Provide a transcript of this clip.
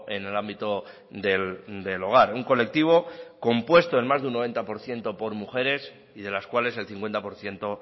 en el ámbito del hogar un colectivo compuesto en más de un noventa por ciento por mujeres y de las cuales el cincuenta por ciento